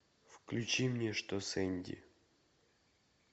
включи мне что с энди